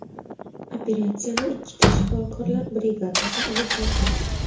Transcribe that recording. Operatsiyani ikkita shifokorlar brigadasi olib borgan.